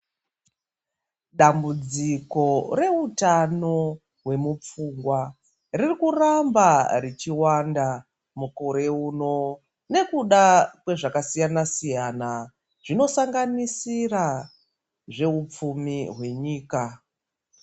Dambudziko reutano hwemupfungwa ririkuramba ichiwanda mukore uno. Nekuda kezvakasiyana-siyana zvinosanganisira zvehupfumi hwenyika.